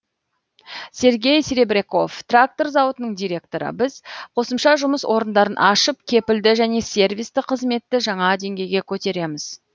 сергей серебряков трактор зауытының директоры біз қосымша жұмыс орындарын ашып кепілді және сервисті қызметті жаңа денгейге көтереміз